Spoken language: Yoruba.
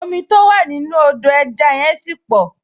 Omi tó wà nínú Odò ẹja yẹn ṣì pọ̀